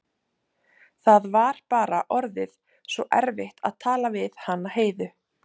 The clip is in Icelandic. Það var bara orðið svo erfitt að tala við hana Heiðu.